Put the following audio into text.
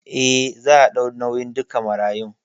Eh, za a ɗau nauyin duka marayun